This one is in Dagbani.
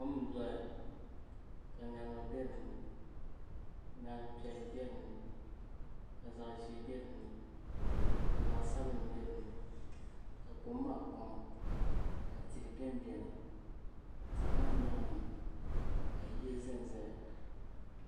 Kom n doya ka ŋarima bɛ dinni ŋarim piɛlli bɛ dinni ka zaɣ ʒiɛ bɛ dinni ka zaɣ sabinli bɛ dinni ka kom maa kpaŋa ka tihi bɛn biɛni tihi maa nyaanga ka yiya ʒɛnʒɛya